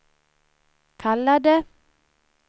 kallade